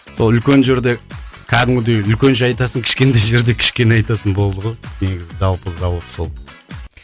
сол үлкен жерде кәдімгідей үлкенше айтасың кішкентай жерде кішкене айтасың болды ғой негізі жалпы сол